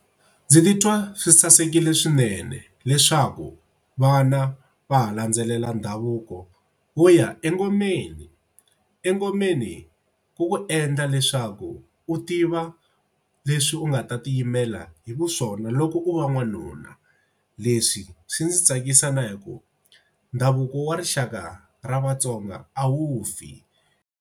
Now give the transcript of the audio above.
Ndzi titwa swi sasekile swinene leswaku vana va ha landzelela ndhavuko wo ya engomeni. Engomeni ku ku endla leswaku u tiva leswi u nga ta tiyimela hi vuswona loko u va n'wanuna leswi swi ndzi tsakisa na hi ku ndhavuko wa rixaka ra vatsonga a wu fi.